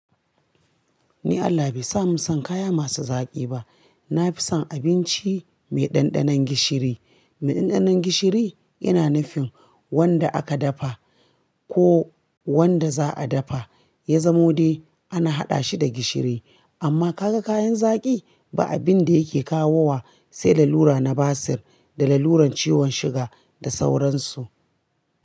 Ni Allah bai sa mu san kaya masu zaƙi ba. Na fi son abinci mai ɗanɗanon gishiri. Mai ɗanɗanon gishiri yana nufin wanda aka dafa ko wanda za'a dafa. Ya zamo dai ana haɗa shi da gishiri. Amma ka ga kayan zaƙi? Ba abin da yake kawo wa sai lalura na basir da laluran ciwon suga da sauransu.